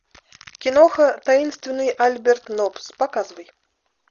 киноха таинственный альберт нопс показывай